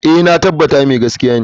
Eh, na tabbata mai gaskiya ne.